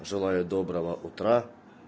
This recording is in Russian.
желаю доброго утра